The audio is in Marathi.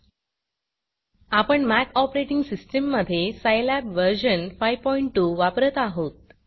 आपण Macमॅक ऑपरेटिंग सिस्टीम मधे सायलॅब वर्जन 52 वापरत आहोत